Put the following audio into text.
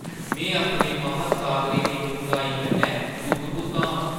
में अपने महासागरें दी डुंग्हाई कन्नै तुत्त-बुत्त आं!